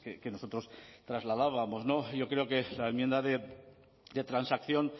que nosotros trasladábamos yo creo que la enmienda de transacción